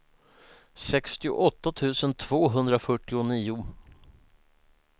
sextioåtta tusen tvåhundrafyrtionio